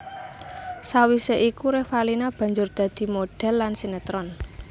Sawisé iku Revalina banjur dadi modhèl lan sinetron